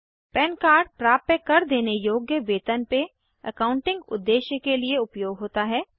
पन कार्ड प्राप्य कर देने योग्य वेतन पे एकाउंटिंग उद्देश्य के लिए उपयोग होता है